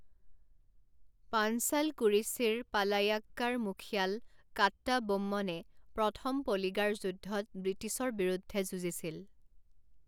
পাঞ্চালকুৰিচিৰ পালায়্যাক্কাৰা মুখিয়াল কাট্টাবোম্মনে প্ৰথম পলিগাৰ যুদ্ধত ব্ৰিটিছৰ বিৰুদ্ধে যুঁজিছিল।